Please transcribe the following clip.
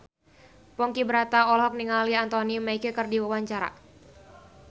Ponky Brata olohok ningali Anthony Mackie keur diwawancara